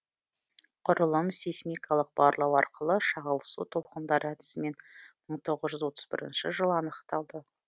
құрылым сейсмикалық барлау арқылы шағылысу толқындары әдісімен мың тоғыз жүз отыз бірінші жылы анықталды